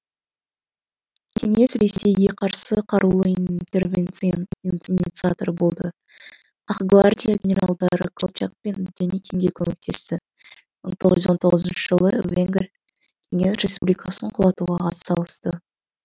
кеңес ресейге қарсы қарулы интервенцияның инциаторы болды ақ гвардия генералдары колчак пен деникинге көмектесті мың тоғыз жүз он тоғызыншы жылы венгр кеңес республикасын құлатуға ат салысты